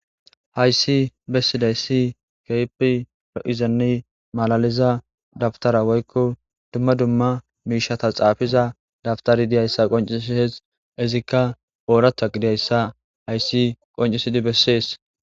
Haysi besidaysi keehi lo'izanne malalizza dabittara woyikko dumma dumma mishshata xafizza dabittari dizzagga qonc'ises izikka oraththa gidizayssa nusi besses.